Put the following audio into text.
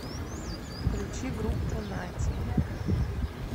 включи группу нати